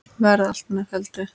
Verði allt með felldu.